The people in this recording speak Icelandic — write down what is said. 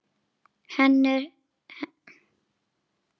Henni líður vel?